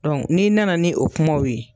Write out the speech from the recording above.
n'i na na ni o kumaw ye